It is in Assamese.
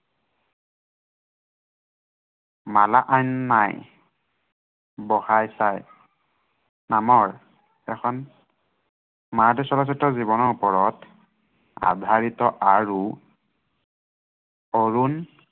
মালাকান্য়াই বহাৰ চাই নামৰ এখন মাৰাঠী চলচ্ছিত্ৰ জীৱনৰ ওপৰত আধাৰিত আৰু অৰুণ